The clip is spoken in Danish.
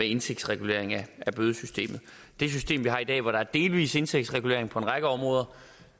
indtægtsregulering af bødesystemet det system vi har i dag hvor der er delvis indtægtsregulering på en række områder